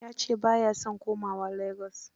Ya ce ba ya son komawa Lagos.